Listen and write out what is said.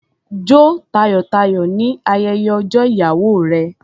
Jó tayọ̀-tayọ̀ ní ayẹyẹ ọjọ́ ìyàwó rẹ.